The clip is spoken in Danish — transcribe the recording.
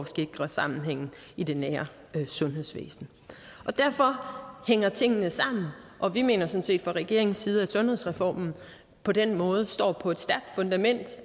sikre sammenhængen i det nære sundhedsvæsen derfor hænger tingene sammen og vi mener sådan set fra regeringens side at sundhedsreformen på den måde står på et stærkt fundament